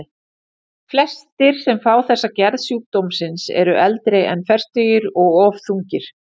Flestir sem fá þessa gerð sjúkdómsins eru eldri en fertugir og of þungir.